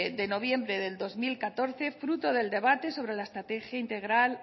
de noviembre del dos mil catorce fruto del debate sobre la estrategia integral